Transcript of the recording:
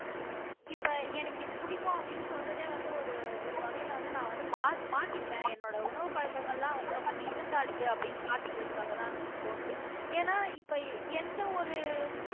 இப்ப எனக்கு இது பிடிக்கும் அப்படின்னு சொல்றதே வந்து ஒரு ஒரு வகையில வந்து நான் வந்து மா மாத்திக்கிறேன் என்னோட உணவு எல்லாம் வந்து ரொம்ப decent ஆ இருக்கு அப்படின்னு காட்டிக்கிறதுக்காகத்தான் எனக்குத் தோணுது ஏன்னா இப்ப எந்த ஒரு